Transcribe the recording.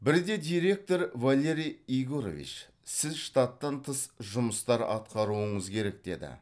бірде директор валерий егорович сіз штаттан тыс жұмыстар атқаруыңыз керек деді